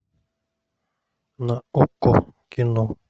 на окко кино